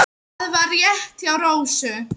Það var rétt hjá Rósu.